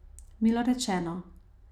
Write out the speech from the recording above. Milo rečeno.